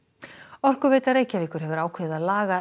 Orkuveita Reykjavíkur hefur ákveðið að laga